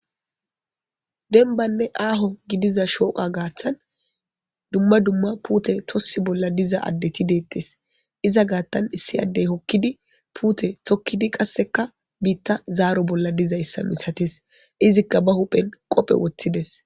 Denbanne aaho gidiza shooqa gaaththan dumma dumma puute tossi bolla diza addeti deettes iza gaattan issi addey hokkidi puute tokkidi qasseka biitta zaaro bolla diza issa misates izikka ba huphen qophe woththides.